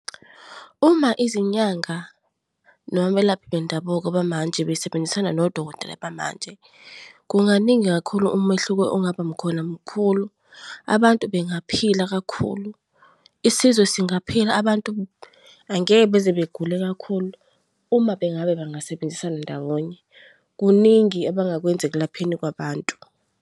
Uma izinyanga noma abelaphi bendabuko bamanje besebenzisana nodokotela bamanje, kunganingi kakhulu umehluko ongabakhona mukhulu. Abantu bengaphila kakhulu, isizwe singaphila abantu angeke beze begule kakhulu uma bengabe bengasebenzisana ndawonye. Kuningi abangakwenza ekulapheni kwabantu.